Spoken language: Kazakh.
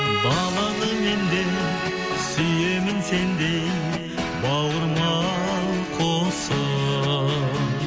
даланы мен де сүйемін сендей бауырмал құсым